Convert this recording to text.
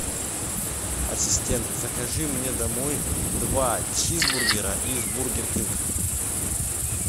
ассистент закажи мне домой два чизбургера из бургер кинг